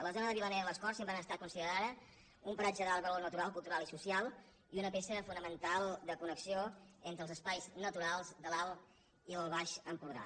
la zona de vilanera i les corts sempre ha estat considerada un paratge d’alt valor natural cultu·ral i social i una peça fonamental de connexió entre els espais naturals de l’alt i el baix empordà